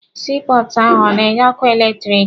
Sii pọọtụ ahụ ọ na-enye ọkụ eletirisiti?